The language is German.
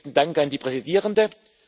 Besten Dank an die Präsidierende.